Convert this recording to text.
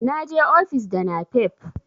na je ofis da napep